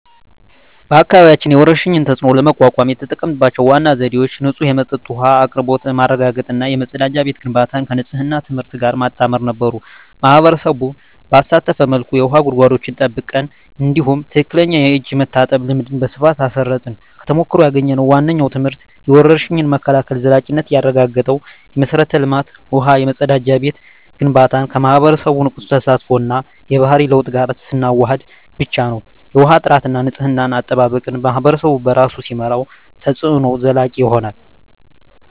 በአካባቢያችን የወረርሽኝን ተፅዕኖ ለመቋቋም የተጠቀምንባቸው ዋና ዘዴዎች ንጹህ የመጠጥ ውሃ አቅርቦት ማረጋገጥ እና የመጸዳጃ ቤት ግንባታን ከንፅህና ትምህርት ጋር ማጣመር ነበሩ። ማኅበረሰቡን ባሳተፈ መልኩ የውሃ ጉድጓዶችን ጠብቀን፣ እንዲሁም ትክክለኛ የእጅ መታጠብ ልምድን በስፋት አስረፅን። ከተሞክሮ ያገኘነው ዋነኛው ትምህርት የወረርሽኝ መከላከል ዘላቂነት የሚረጋገጠው የመሠረተ ልማት (ውሃ፣ መጸዳጃ ቤት) ግንባታን ከማኅበረሰቡ ንቁ ተሳትፎ እና የባህሪ ለውጥ ጋር ስናዋህድ ብቻ ነው። የውሃ ጥራትና የንፅህና አጠባበቅን ማኅበረሰቡ በራሱ ሲመራው፣ ተፅዕኖው ዘላቂ ይሆናል።